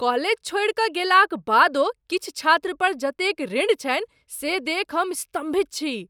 College छोड़िकऽ गेलाक बादो किछु छात्रपर जतेक ऋण छनि से देखि हम स्तम्भित छी।